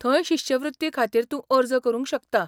थंय शिश्यवृत्ती खातीर तूं अर्ज करूंक शकता.